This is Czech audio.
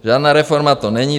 Žádná reforma to není.